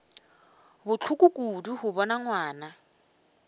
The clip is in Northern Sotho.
bohloko kudu go bona ngwana